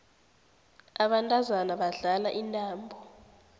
abantazana badlala intambo